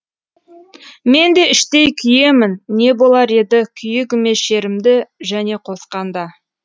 мен де іштей күйемін не болар еді күйігіме шерімді және қосқанда